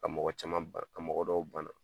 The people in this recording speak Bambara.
Ka mɔgɔ caman bana, ka mɔgɔ dɔw bana.